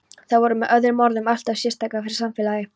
Það var með öðrum orðum alltof sérstakt fyrir samfélagið.